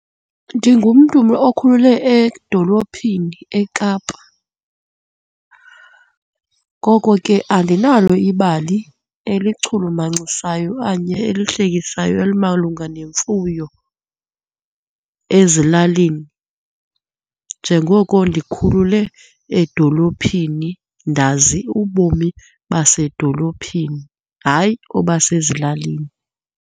Ndingumntu okhulele edolophini eKapa. Ngoko ke andinalo ibali elichulumanincisayo okanye elihlekisayo elimalunga nemfuyo ezilalini, njengoko ndikhulule edolophini, ndazi ubomi basedolophini, hayi obasezilalini.